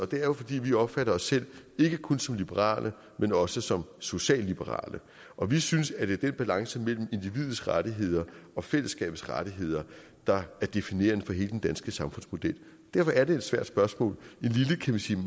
det er jo fordi vi opfatter os selv ikke kun som liberale men også som socialliberale og vi synes at det er den balance mellem individets rettigheder og fællesskabets rettigheder der er definerende for hele den danske samfundsmodel derfor er det et svært spørgsmål